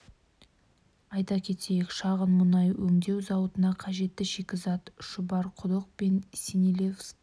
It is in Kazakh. айта кетейік шағын мұнай өндеу зауытына қажетті шикізат шұбарқұдық пен синельниковский кен орындарынан алынады зауытта тәулігіне